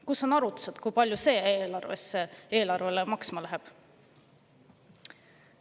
Kus on arvutused, kui palju see eelarvele maksma läheb?